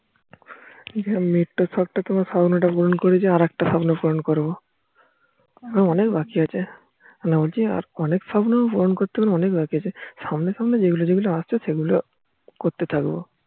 আমি একটা স্বপ্ন খাওয়ানো টা কে পূরণ করেছি আর একটা কে পূরণ করবো অনেক বাকি আছে মানে বলছি আরো অনেক স্বপ্ন পূরণ করা বাকি আছে সামনে সামনে সেগুলো আসছে সেগুলো করতে থাকবো